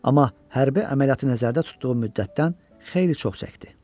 Amma hərbi əməliyyatı nəzərdə tutduğu müddətdən xeyli çox çəkdi.